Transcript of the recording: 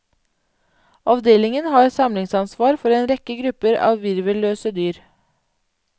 Avdelingen har samlingsansvar for en rekke grupper av virvelløse dyr.